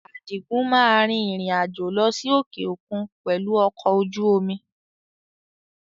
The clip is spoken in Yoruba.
Adigun máa rìn-ìrìn àjò lọ sí òkè òkun pẹ̀lú ọkọ̀ ojú omi